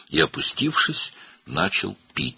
Və əlini ətəyindən üzüb içməyə başladı.